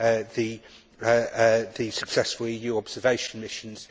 the successful EU observation missions.